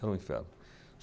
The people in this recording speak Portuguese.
Era um inferno.